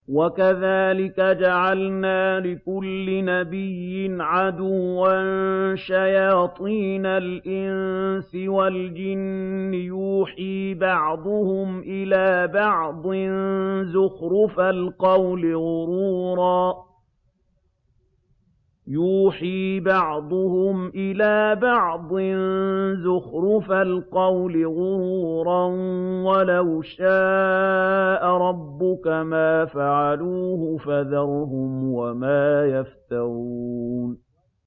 وَكَذَٰلِكَ جَعَلْنَا لِكُلِّ نَبِيٍّ عَدُوًّا شَيَاطِينَ الْإِنسِ وَالْجِنِّ يُوحِي بَعْضُهُمْ إِلَىٰ بَعْضٍ زُخْرُفَ الْقَوْلِ غُرُورًا ۚ وَلَوْ شَاءَ رَبُّكَ مَا فَعَلُوهُ ۖ فَذَرْهُمْ وَمَا يَفْتَرُونَ